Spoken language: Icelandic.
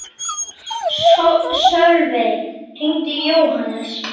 Sölvey, hringdu í Jóhannes.